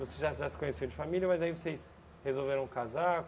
Você já já se conheceram de família, mas aí vocês resolveram casar?